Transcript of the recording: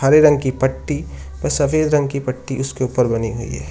हरे रंग की पट्टी सफेद रंग की पट्टी ऊपर बनी हुई है।